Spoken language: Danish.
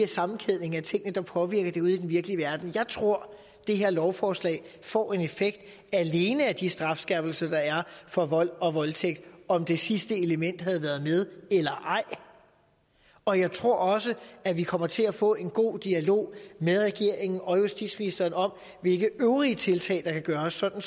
sammenkædning af tingene der påvirker det ude i den virkelige verden jeg tror det her lovforslag får en effekt alene af de strafskærpelser der er for vold og voldtægt om det sidste element havde været med eller ej og jeg tror også at vi kommer til at få en god dialog med regeringen og justitsministeren om hvilke øvrige tiltag der kan gøres sådan